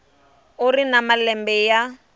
u ri na malembe ya